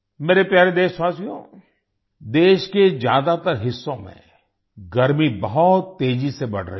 मेरे प्यारे देशवासियो देश के ज़्यादातर हिस्सों में गर्मी बहुत तेजी से बढ़ रही है